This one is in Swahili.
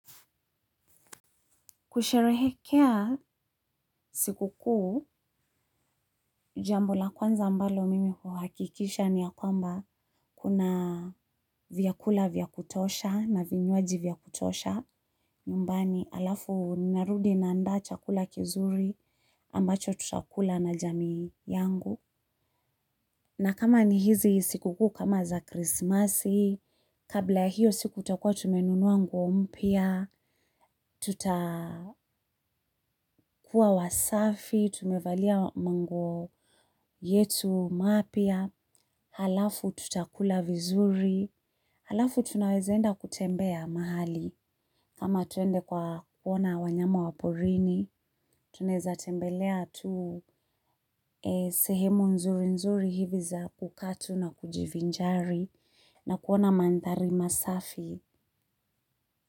Kusherehekea sikukuu, jambo la kwanza ambalo mimi huhakikisha ni ya kwamba kuna vyakula vya kutosha na vinywaji vya kutosha. Nyumbani alafu narudi naandaa chakula kizuri ambacho tutakula na jamii yangu. Na kama ni hizi sikukuu kama za krismasi, kabla hiyo siku tutakuwa tumenunua nguo mpya, tuta wasafi, tumevalia manguo yetu mapya, halafu tutakula vizuri, halafu tunawezaenda kutembea mahali. Ama tuende kuwaona wanyama wa porini tunaezatembelea tu sehemu nzurinzuri hivi za kukaa tu na kujivinjari na kuona manthari masafi.